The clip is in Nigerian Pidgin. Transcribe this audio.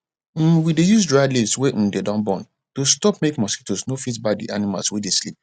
um we dey use dried leaves wey um dey don burn to stop make mosquitoes no fit bite d animals wey dey sleep